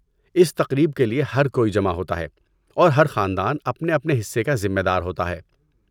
اس تقریب کے لیے ہر کوئی جمع ہوتا ہے، اور ہر خاندان اپنے اپنے حصے کا ذمہ دار ہوتا ہے۔